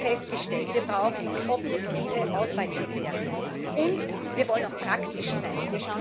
Wir haben festgestellt, wir brauchen objektive Auswahlkriterien, und wir wollen auch praktisch sein.